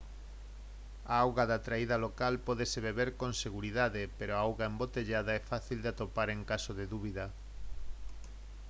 a auga da traída local pódese beber con seguridade pero a auga embotellada é fácil de atopar en caso de dúbida